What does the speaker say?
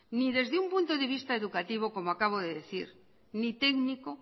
ni desde un punto de vista educativo como acabo de decir ni técnico